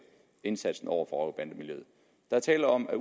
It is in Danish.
indsatsen over for rocker og bandemiljøet der er tale om at